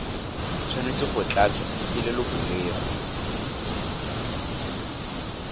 tshwanetse go tlatswa ke lelokolegolo